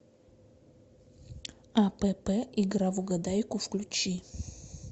апп игра в угадайку включи